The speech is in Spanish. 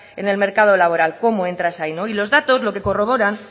en el mercado laboral cómo entras ahí y los datos lo que corroboran